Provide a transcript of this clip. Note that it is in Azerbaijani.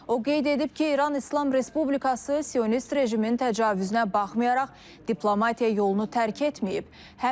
O qeyd edib ki, İran İslam Respublikası sionist rejimin təcavüzünə baxmayaraq diplomatiya yolunu tərk etməyib.